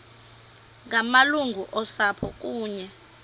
ngamalungu osapho kunye